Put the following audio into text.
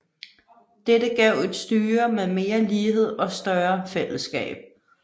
Dette gav et styre med mere lighed og større fællesskab